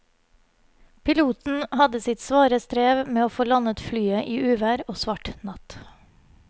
Piloten hadde sitt svare strev med å få landet flyet i uvær og svart natt.